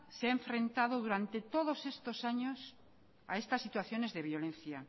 se ha enfrentado durante todos estos años a estas situaciones de violencia